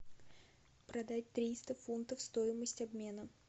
продать триста фунтов стоимость обмена